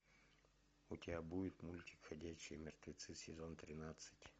у тебя будет мультик ходячие мертвецы сезон тринадцать